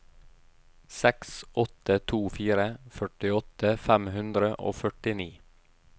seks åtte to fire førtiåtte fem hundre og førtini